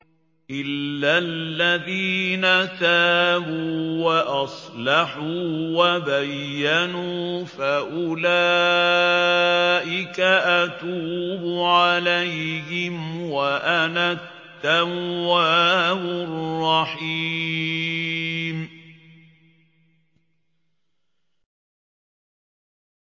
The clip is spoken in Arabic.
إِلَّا الَّذِينَ تَابُوا وَأَصْلَحُوا وَبَيَّنُوا فَأُولَٰئِكَ أَتُوبُ عَلَيْهِمْ ۚ وَأَنَا التَّوَّابُ الرَّحِيمُ